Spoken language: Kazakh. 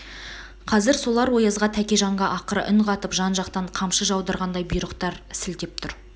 қазір солар оязға тәкежанға ақыра үн қатып жан-жақтан қамшы жаудырғандай бұйрықтар сілтеп тұр